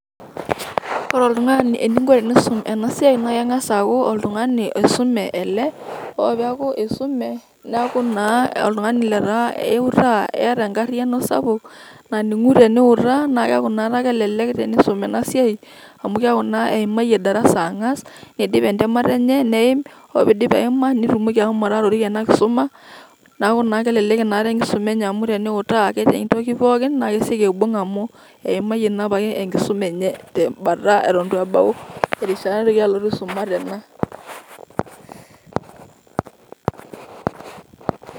ore oltung'ani eningo teniyiolou ena siai naa keng'as aaku isume neeku keeta enkariyiano sapuk naning'u teniutaa ,naa keeku inakata kelelek inasiai amu keeku naa eimayie darasa neeim neeku keeta engariyiano sapuk nautarie ingulie.